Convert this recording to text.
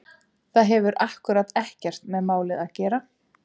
Það hefur akkúrat ekkert með málið að gera!